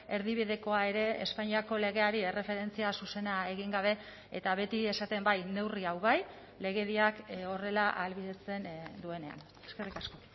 erdibidekoa ere espainiako legeari erreferentzia zuzena egin gabe eta beti esaten bai neurri hau bai legediak horrela ahalbidetzen duenean eskerrik asko